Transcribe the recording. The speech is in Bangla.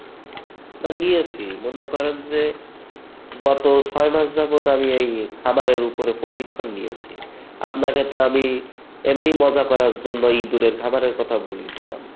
নিয়েছি , মনে করেন যে গত ছয়মাস যাবৎ আমি এই খামারের উপরে প্রশিক্ষন নিয়েছি। আপনাকে তো আমি এমনি ই মজা করার জন্য ইঁদুরের খামারের কথা বলেছিলাম